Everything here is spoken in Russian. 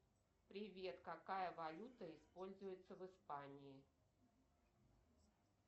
привет какая валюта используется в испании